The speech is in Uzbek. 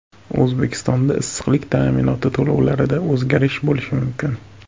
O‘zbekistonda issiqlik ta’minoti to‘lovlarida o‘zgarish bo‘lishi mumkin.